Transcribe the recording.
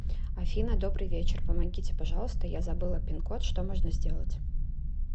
афина добрый вечер помогите пожалуйста я забыла пин код что можно сделать